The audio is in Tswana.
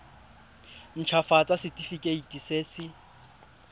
nt hafatsa setefikeiti se se